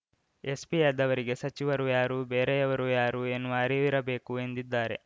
ಎಸ್ಪಿಯಾದವರಿಗೆ ಸಚಿವರು ಯಾರು ಬೇರೆಯವರು ಯಾರು ಎನ್ನುವ ಅರಿವಿರಬೇಕು ಎಂದಿದ್ದಾರೆ